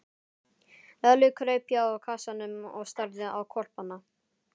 Lalli kraup hjá kassanum og starði á hvolpana.